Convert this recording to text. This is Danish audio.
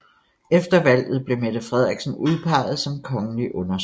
Efter valget blev Mette Frederiksen udpeget som kongelig undersøger